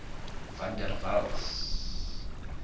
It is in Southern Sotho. van der waals